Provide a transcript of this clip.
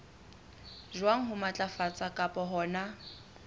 jwang ho matlafatsa kapa hona